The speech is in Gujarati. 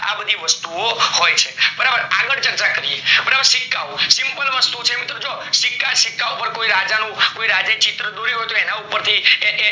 આ બધી વસ્તુ ઓ હોય છે બરાબર આગળ ચર્ચા કરીએ બરાબર સિક્કાઓ simple વસ્તુ ઓ છે મિત્રો જો મિત્રો જો સિક્કા ઓ ઉપર કોઈ રાજા નું કોઈ રાજ ચિત્ર દોરેલું હોય તો એના ઉપર થી.